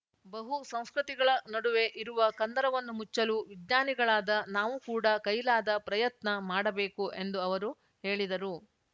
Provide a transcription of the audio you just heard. ಬಹುಸಂಸ್ಕೃತಿಗಳ ನಡುವೆ ಇರುವ ಕಂದರವನ್ನು ಮುಚ್ಚಲು ವಿಜ್ಞಾನಿಗಳಾದ ನಾವು ಕೂಡ ಕೈಲಾದ ಪ್ರಯತ್ನ ಮಾಡಬೇಕು ಎಂದು ಅವರು ಹೇಳಿದರು